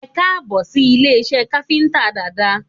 Ẹkáàbọ̀ sí ilé iṣẹ́ káfíntà Dada